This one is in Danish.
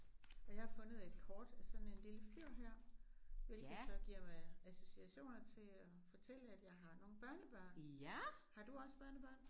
Og jeg har fundet et kort af sådan en lille fyr her hvilket så giver mig associationer til at fortælle at jeg har nogle børnebørn. Har du også børnebørn?